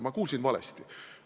Ma kuulsin valesti.